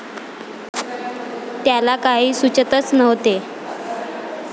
त्याला काही सुचतच नव्हते.